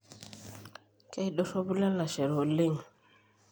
keidorropu ilalashere oleng